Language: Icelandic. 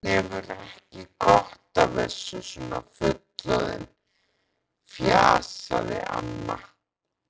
Hann hefur ekki gott af þessu svona fullorðinn, fjasaði amma.